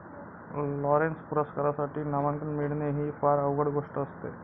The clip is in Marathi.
लॉरेन्स पुरस्कारासाठी नामांकन मिळणे ही फार अवघड गोष्ट असते.